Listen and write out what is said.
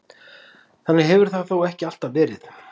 Þannig hefur það þó ekki alltaf verið.